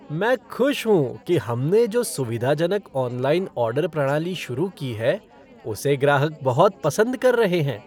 मैं खुश हूँ कि हमने जो सुविधाजनक ऑनलाइन ऑर्डर प्रणाली शुरू की है, उसे ग्राहक बहुत पसंद कर रहे हैं।